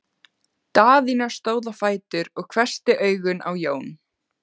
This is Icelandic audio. Daðína stóð á fætur og hvessti augun á Jón.